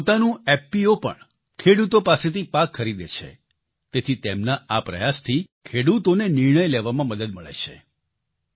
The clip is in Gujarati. એમનું પોતાનું એફપીઓ પણ ખેડૂતો પાસેથી પાક ખરીદે છે તેથી તેમના આ પ્રયાસથી ખેડૂતોને નિર્ણય લેવામાં મદદ મળે છે